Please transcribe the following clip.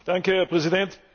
Herr Präsident!